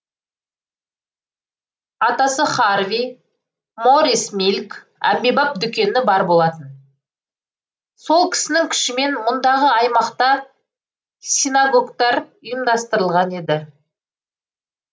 атасы харви моррис милк әмбебап дүкені бар болатын сол кісінің күшімен мұндағы аймақта синагогтар ұйымдастырылған еді